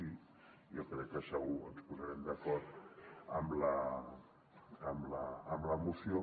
i jo crec que segur que ens posarem d’acord amb la moció